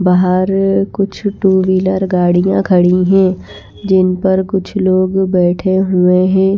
बाहर कुछ two wheeler गाड़ियाँ खड़ी हैं जिन पर कुछ लोग बैठे हुए हैं।